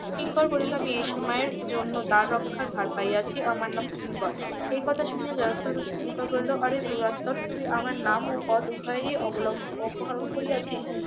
কিঙ্কর বলিল আমি এই সময়ের জন্য দ্বার রক্ষার ভার পাইয়াছি আমার নাম কিঙ্কর এই কথা শুনিয়া . বাসী কিঙ্কর বলিল অরে দুরাত্মনঃ তুই আমার নাম ও পদ উভয়েরই অপহরণ করিয়াছিস